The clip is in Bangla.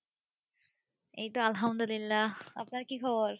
এইতো আলহামদুলিল্লা আপনার কি খবর?